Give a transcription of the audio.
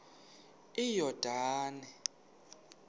iyordane